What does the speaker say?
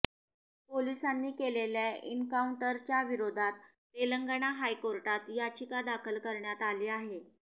पोलिसांनी केलेल्या एन्काऊंटरच्या विरोधात तेलंगणा हाय कोर्टात याचिका दाखल करण्यात आली आहे